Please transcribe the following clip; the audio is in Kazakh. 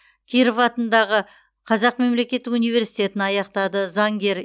киров атындағы қазақ мемлекеттік университетін аяқтады заңгер